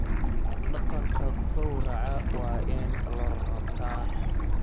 Dhaqanka gowraca waa in la rabta.